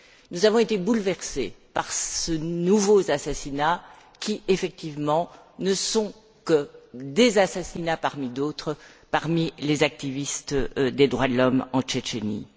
Nous avons été bouleversés par ces nouveaux assassinats qui, effectivement, ne sont que des assassinats parmi d'autres parmi les militants des droits de l'homme en Tchétchénie.